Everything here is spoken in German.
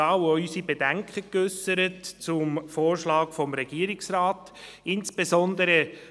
Wir haben auch unsere Bedenken zum Vorschlag des Regierungsrates geäussert.